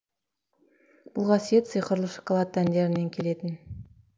бұл қасиет сиқырлы шоколад дәндерінен келетін